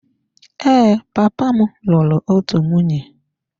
Ee, papa m lụrụ otu nwunye.